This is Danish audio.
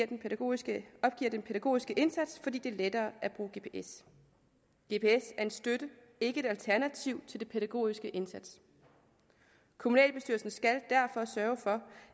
den pædagogiske pædagogiske indsats fordi det er lettere at bruge gps gps er en støtte ikke et alternativ til den pædagogiske indsats kommunalbestyrelsen skal derfor sørge for